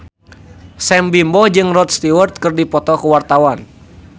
Sam Bimbo jeung Rod Stewart keur dipoto ku wartawan